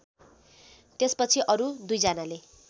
त्यसपछि अरु दुईजनाले